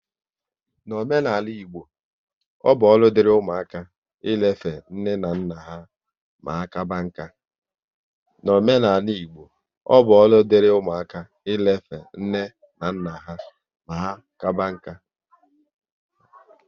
N'omenala Igbo, ọ bụ ọrụ diri ụmụaka ị lefe nne na nna ha ma ka kaba nka